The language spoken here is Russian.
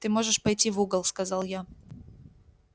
ты можешь пойти в угол сказал я